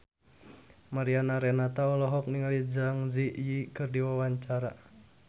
Mariana Renata olohok ningali Zang Zi Yi keur diwawancara